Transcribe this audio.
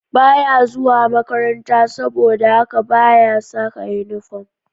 Ba ya zuwa makaranta, saboda haka ba ya saka inifom